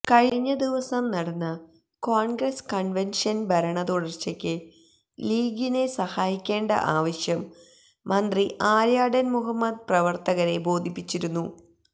കഴിഞ്ഞ ദിവസം നടന്ന കോണ്ഗ്രസ് കണ്വെന്ഷനില് ഭരണ തുടര്ച്ചക്ക് ലീഗിനെ സഹായിക്കേണ്ട ആവശ്യം മന്ത്രി ആര്യാടന് മുഹമ്മദ് പ്രവര്ത്തകരെ ബേധിപ്പിച്ചിരുന്നു